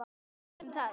Notum það.